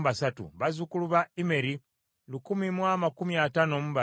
bazzukulu ba Immeri lukumi mu amakumi ataano mu babiri (1,052),